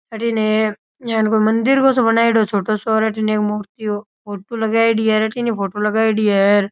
अठीने है इया कोई मंदिर सो क बनायोडो है छोटो सो अठीने एक मूर्ति ओ फोटो लगायेड़ी है अठीने ही फोटो लगायेड़ी है।